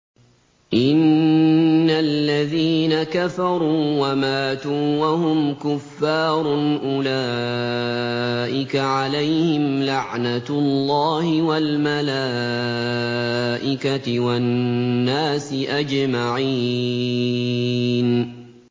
إِنَّ الَّذِينَ كَفَرُوا وَمَاتُوا وَهُمْ كُفَّارٌ أُولَٰئِكَ عَلَيْهِمْ لَعْنَةُ اللَّهِ وَالْمَلَائِكَةِ وَالنَّاسِ أَجْمَعِينَ